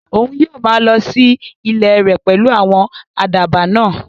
Òun yóò maa lọ sí ilẹ̀ rẹ̀ pẹ̀lú àwọn àdàbà náà